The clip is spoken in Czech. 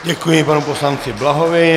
Děkuji panu poslanci Blahovi.